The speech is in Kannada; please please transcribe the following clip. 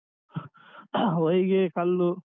ಹ ಹೊಯ್ಗೆ ಕಲ್ಲು.